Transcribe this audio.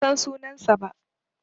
Ban san sunansa ba.